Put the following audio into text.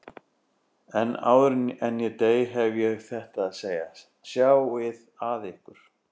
En áður en ég dey hef ég þetta að segja: Sjáið að ykkur.